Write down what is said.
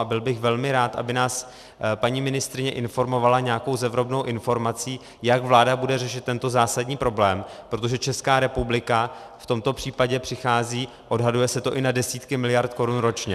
A byl bych velmi rád, aby nás paní ministryně informovala nějakou zevrubnou informací, jak vláda bude řešit tento zásadní problém, protože Česká republika v tomto případě přichází - odhaduje se to i na desítky miliard korun ročně.